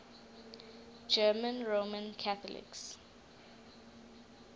german roman catholics